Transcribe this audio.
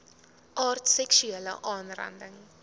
aard seksuele aanranding